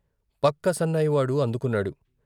పక్క సన్నాయి వాడు అందుకున్నాడు.